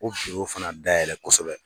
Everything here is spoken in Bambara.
O fana dayɛlɛ kosɛbɛ.